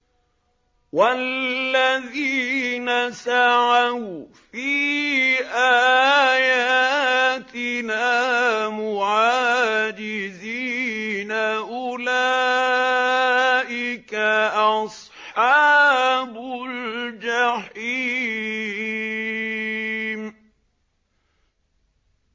وَالَّذِينَ سَعَوْا فِي آيَاتِنَا مُعَاجِزِينَ أُولَٰئِكَ أَصْحَابُ الْجَحِيمِ